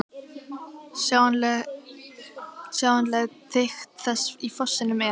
Sjáanleg þykkt þess í fossinum er